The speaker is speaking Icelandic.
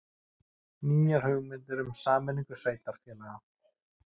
Nýjar hugmyndir um sameiningu sveitarfélaga